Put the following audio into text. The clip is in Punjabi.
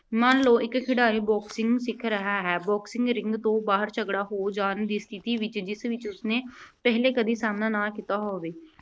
ਮੰਨ ਲਓ ਇੱਕ ਖਿਡਾਰੀ boxing ਸਿੱਖ ਰਿਹਾ ਹੈ। boxing ring ਤੋਂ ਬਾਹਰ ਝਗੜਾ ਹੋ ਜਾਣ ਦੀ ਸਥਿਤੀ ਵਿੱਚ, ਜਿਸ ਵਿੱਚ ਉਸਨੇ ਪਹਿਲਾਂ ਕਦੀ ਸਾਹਮਣਾ ਨਾ ਕੀਤਾ ਹੋਵੇ।